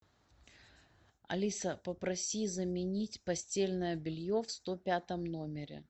алиса попроси заменить постельное белье в сто пятом номере